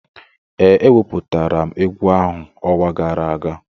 Ee, eweputara m egwu ahụ ọnwa gara aga